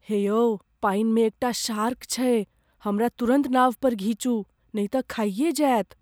हे यौ पानिमे एकटा शार्क छैक, हमरा तुरन्त नाव पर घीचू, नै तऽ खाइए जाएत।